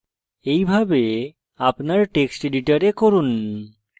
এইভাবে আপনার text editor করুন